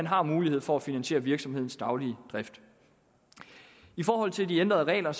har mulighed for at finansiere virksomhedens daglige drift i forhold til de ændrede regler